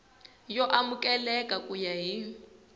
yo amukeleka ku ya hi